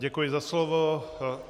Děkuji za slovo.